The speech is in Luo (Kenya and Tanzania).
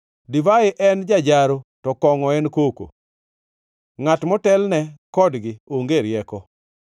Divai en jajaro to kongʼo en koko; ngʼat motelne kodgi onge rieko.